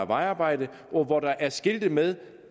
vejarbejde og hvor der er skiltet med